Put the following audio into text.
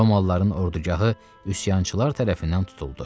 Romalıların ordugahı üsyançılar tərəfindən tutuldu.